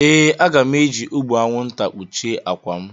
Ee, aga m eji ụgbụ anwụnta kpuchie akwa m.